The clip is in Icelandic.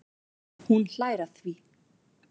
Hún hlær að því.